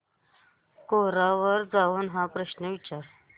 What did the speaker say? कोरा वर जाऊन हा प्रश्न विचार